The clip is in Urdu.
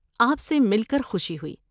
آپ سے مل کر خوشی ہوئی۔